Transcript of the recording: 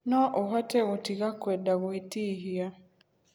No ũhote gũtiga kwenda gwĩtihia.